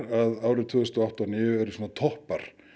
að árin tvö þúsund og átta og níu eru toppar